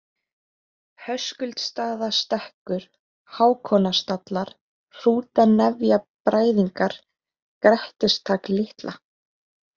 Höskuldsstaðastekkur, Hákonarstallar, Hrútanefjabræðingar, Grettistak-Litla